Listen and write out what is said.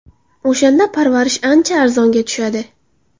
O‘shanda parvarish ancha arzonga tushadi.